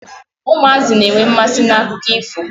Ụmụazị na-enwe mmasi n'akụkọ ifo.